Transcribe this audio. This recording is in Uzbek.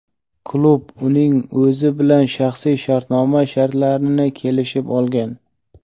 Klub uning o‘zi bilan shaxsiy shartnoma shartlarini kelishib olgan;.